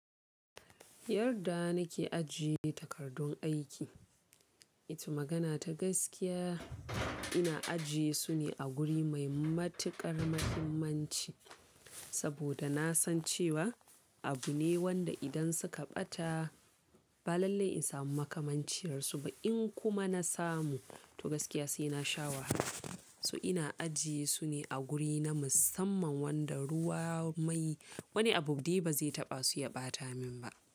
Yarda nake ajiye takardun aiki, ita magana ta gaskiya ina ajiye su ne a guri mai matuƙar muhimmanci saboda na san cewa abu ne wanda idan suka ɓata ba lalle in samu makamanciyar su ba in kuma na samu to gaskiya sai na sha wahala. So ina ajiye su ne a guri na musamman wanda ruwa mai wani abu dai ba zai taɓa su ya ɓata min ba.